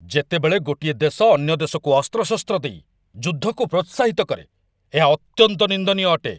ଯେତେବେଳେ ଗୋଟିଏ ଦେଶ ଅନ୍ୟ ଦେଶକୁ ଅସ୍ତ୍ରଶସ୍ତ୍ର ଦେଇ ଯୁଦ୍ଧକୁ ପ୍ରୋତ୍ସାହିତ କରେ, ଏହା ଅତ୍ୟନ୍ତ ନିନ୍ଦନୀୟ ଅଟେ।